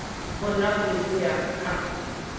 bonwang le ho ya ka